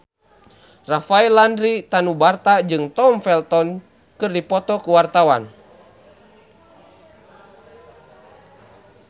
Rafael Landry Tanubrata jeung Tom Felton keur dipoto ku wartawan